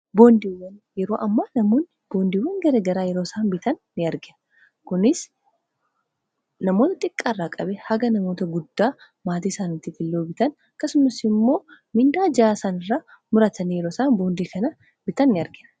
boondiiwwan yeroo amma namoonni boondiiwwan gara garaa yeroo isaan bitan in argina kunis namoota xiqqaa irraa qabe haga namoota guddaa maatii isaanitifillee bitan akasumas immoo mindaa ji'aa isanirraa muratanii yeroo isaan boondii kana bitan in argina.